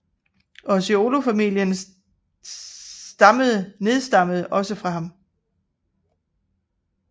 Orseolo familien stammede nedstammede også fra ham